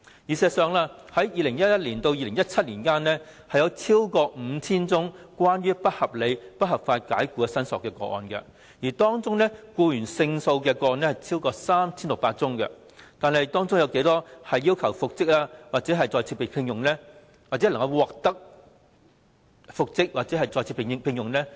事實上，由2011年至2017年，有超過 5,000 宗不合理及不合法解僱的申索個案，當中僱員勝訴的個案超過 3,600 宗，但當中有多少宗要求復職或再次聘用的個案，僱員獲得復職或再次被聘用？